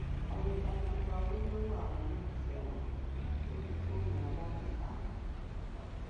àwọn ìbátan gba owó lọwọ àwọn olólùfẹ wọn lórí fóònù alágbèéká wọn